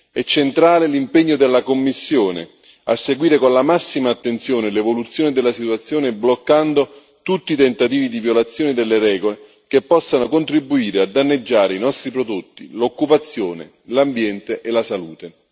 È centrale l'impegno della Commissione a seguire con la massima attenzione l'evoluzione della situazione, bloccando tutti i tentativi di violazione delle regole che possano contribuire a danneggiare i nostri prodotti, l'occupazione, l'ambiente e la salute.